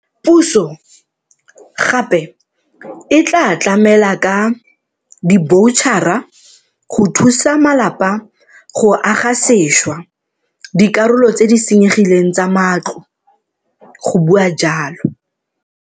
Puso gape e tla tlamela ka diboutšhara go thusa malapa go aga sešwa dikarolo tse di senyegileng tsa matlo, go bua jalo.